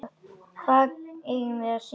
Hvað eigum við að syngja?